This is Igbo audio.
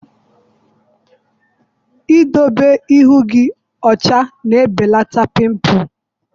Idobe ihu gị ọcha na-ebelata pịmpụl.